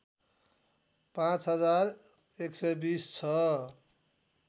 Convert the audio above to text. पाँच हजार १२० छ